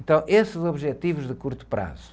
Então, esses objetivos de curto prazo.